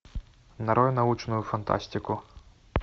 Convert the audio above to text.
нарой научную фантастику